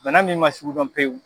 Bana min man sugudɔn pewu.